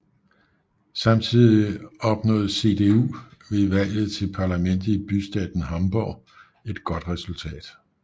Samtidig opnåede CDU ved valget til parlamentet i bystaten Hamburg et godt resultat